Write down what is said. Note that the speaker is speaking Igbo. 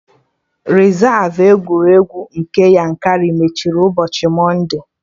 Rezav egwuregwu nke Yankari mechiri ụbọchị Mọnde